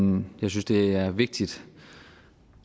men jeg synes det er vigtigt